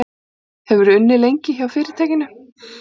Hefurðu unnið lengi hjá fyrirtækinu?